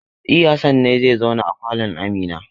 E, Hassan ne zai zauna a falon Amina.